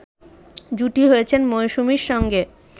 জুটি হয়েছেন মৌসুমীর সঙ্গে